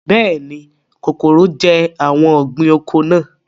Bẹ́ẹ̀ni, kòkòrò jẹ́ àwọn ọ̀gbìn oko náà